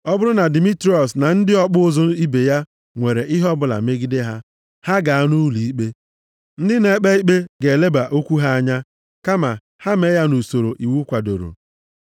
Ọ bụrụ na Dimitriọs na ndị ọkpụ ụzụ ibe ya nwere ihe ọbụla megide ha, ha gaa nʼụlọikpe. Ndị na-ekpe ikpe ga-eleba okwu ha anya. Kama ha mee ya nʼusoro iwu kwadoro.